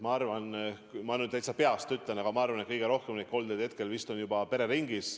Ma nüüd täitsa peast ütlen, aga ma arvan, et kõige rohkem koldeid on hetkel vist pereringis.